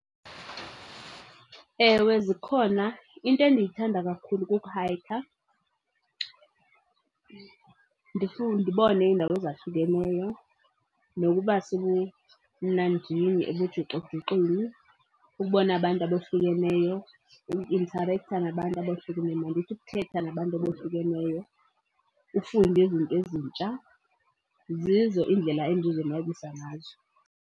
Ewe, zikhona. Into endiyithanda kakhulu kukuhayikha, ndibone iindawo ezahlukeneyo nokuba sebumnandini ebujuxujuxwini. Ubone abantu abohlukeneyo, ukuintarektha nabantu abohlukeneyo, mandithi ukuthetha nabantu abohlukeneyo, ufunde izinto ezintsha. Zezo iindlela endizonwabisa ngazo.